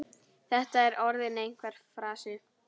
Þetta er orðinn einhver frasi.